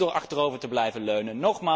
Niet door achterover te blijven leunen.